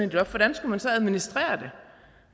et loft hvordan skulle man så administrere